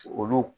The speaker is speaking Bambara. Olu